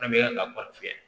An bɛ a kɔɔri tiɲɛ